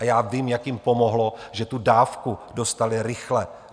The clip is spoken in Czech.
A já vím, jak jim pomohlo, že tu dávku dostali rychle.